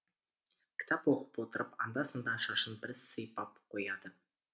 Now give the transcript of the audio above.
кітап оқып отырып анда санда шашын бір сыйпап қояды